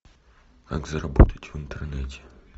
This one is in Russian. как заработать в интернете